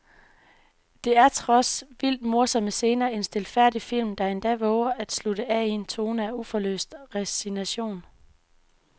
Der er trods vildt morsomme scener en stilfærdig film, der endda vover at slutte af i en tone af uforløst resignation.